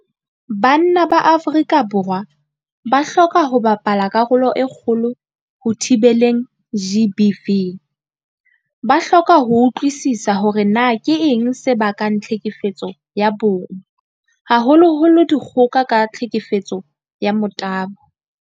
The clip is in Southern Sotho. Banna ba Afrika Borwa ba hloka ho bapala karolo e kgolo ho thibeleng GBV. Ba hloka ho utlwisisa hore na keng se bakang tlhekefetso ya bong, haholoholo dikgoka ka tlhekefetso ya motabo.